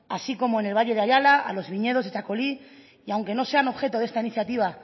así como en el valle de ayala a los viñedos de txakoli y aunque no sea objeto de esta iniciativa